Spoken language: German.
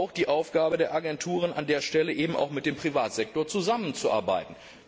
Es ist auch die Aufgabe der Agenturen, an der Stelle eben auch mit dem Privatsektor zusammenzuarbeiten.